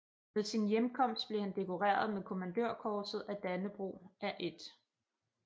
Ved sin hjemkomst blev han dekoreret med Kommandørkorset af Dannebrog af 1